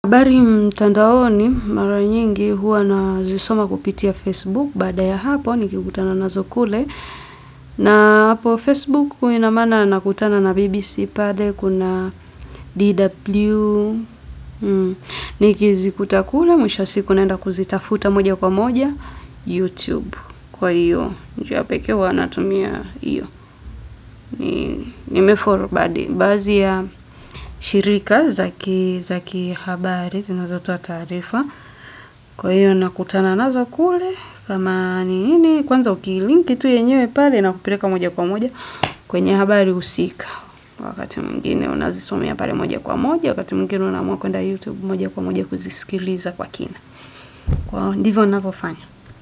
Habari mtandaoni mara nyingi huwa nazisoma kupitia Facebook baada ya hapo nikikutana nazo kule na hapo facebook nakutana na BBC na DW nikizikuta kule, mwisho wa siku naenda kuzitafuta moja kwa moja YouTube kwa hiyo njia ya pekee huwa anatumia hiyo nimefollow baadhi ya shirika za kihabari zinazotoa taarifa kwa hivyo nakutana nazo kule kama ni nini kwanza ukilinki tu yenyewe pale inakupileka moja kwa moja kwenye habari husika wakati mwingine unazisomea pale moja kwa moja wakati mwingine unaamua kwenda youtube moja kwa moja kuzisikiliza kwa kina. Ndivyo ninavyofanya.